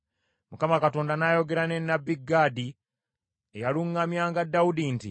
Mukama Katonda n’ayogera ne nnabbi Gaadi eyaluŋŋamyanga Dawudi nti,